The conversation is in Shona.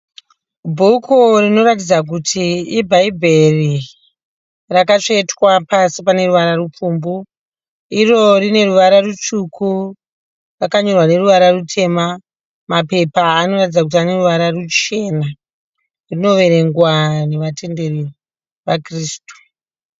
Bhuku rinoratidza kuti i Bhaibheri. Rakatsvetwa pasi pane ruvara rupfumbu . Iro rine ruvara rutsvuku. Rakanyorwa neruvara rutema. Mapepa anoratidza kuti ane ruvara ruchena. Rinoverengwa nevatenderi va Kirisitu .